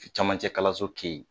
Camancɛkalanso kɛ yen